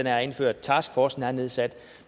er indført taskforcen er nedsat